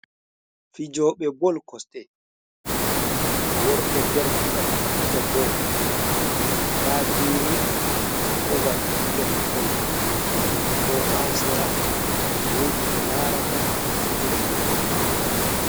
Fijoɓe bol koste worɓe derke’en do fija bal. da geene ha babal be fijata bal man bo ha sera wooɗi ɓe laarata fijirnde nden.